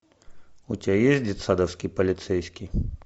у тебя есть детсадовский полицейский